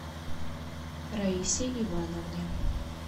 раисе ивановне